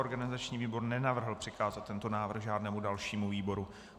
Organizační výbor nenavrhl přikázat tento návrh žádnému dalšímu výboru.